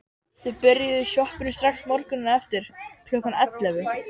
Þau byrjuðu í sjoppunni strax morguninn eftir, klukkan ellefu.